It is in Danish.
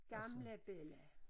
Gamle bella